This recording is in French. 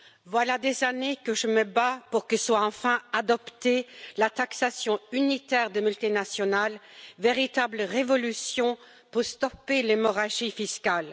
Voilà des années que je me bats pour que soit enfin adoptée la taxation unitaire des multinationales, véritable révolution pour stopper l'hémorragie fiscale.